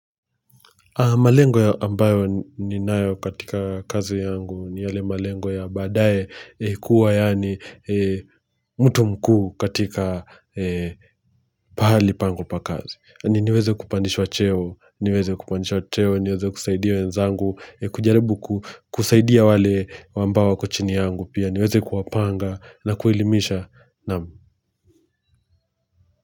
Malengo ya ambayo ninayo katika kazi yangu ni yale malengo ya baadae kuwa yani mtu mkuu katika pahali pangu pa kazi. Niweze kupandishwa cheo, niweze kupandishwa cheo, niweze kusaidia wenzangu, kujaribu kusaidia wale wambao wako chini yangu pia, niweze kuwapanga na kueilimisha naam.